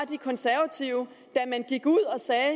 de konservative da man gik ud og sagde